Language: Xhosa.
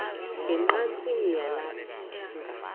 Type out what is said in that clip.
ne ngqatsini yelanga